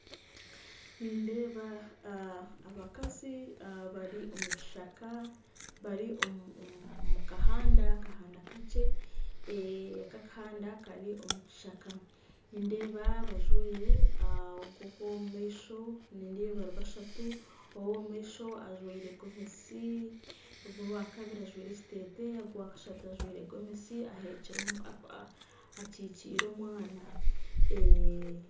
Nindeeba abakazi bari omu kishaka bari omu kahanda kakye, nindeeba bari bashatu reero ow'omumaisho ajwire gomesi, owa kabiri ajwire ekiteteeyi kandi owa kashatu ajwire gomesi akikiire omwana